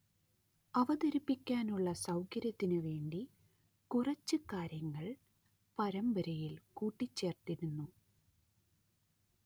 അവതരിപ്പിക്കാനുള്ള സൗകര്യത്തിനു വേണ്ടി കുറച്ച് കാര്യങ്ങൾ പരമ്പരയിൽ കൂട്ടിച്ചേർത്തിരുന്നു